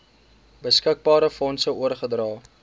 beskikbare fondse oorgedra